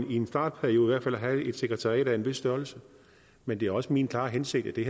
i en startperiode brug for at have et sekretariat af en vis størrelse men det er også min klare hensigt at vi